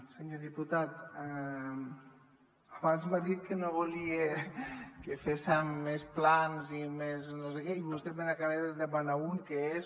senyor diputat abans m’ha dit que no volia que fés·sim més plans i més no sé què i vostè me n’acaba de demanar un que és